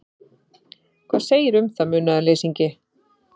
Hvað segirðu um það, munaðarleysingi?